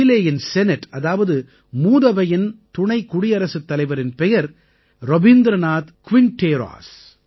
சீலேயின் senate அதாவது மூதவையின் துணை குடியரசுத் தலைவரின் பெயர் ரபீந்திரநாத் க்விண்டேராஸ்